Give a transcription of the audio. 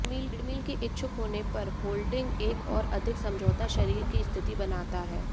treadmill के इच्छुक होने पर होल्डिंग एक और अधिक समझौता शरीर की स्थिति बनाता है